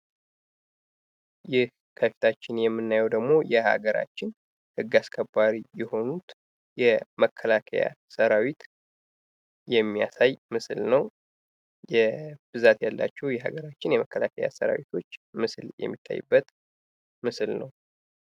ይህ ከፊታችን የምናየው ደግሞ የሀገራችን ህግ አስከባሪ የመከላከያ ሰራዊት የሚያሳይ ምስል ነው። ብዛት ያላቸው የሀገራችን መከላከያ ሰራዊቶች ምስል የማታዩበት ምስል ነው።